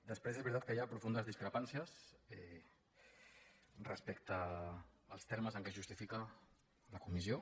després és veritat que hi ha profundes discrepàncies respecte als termes en què es justifica la comissió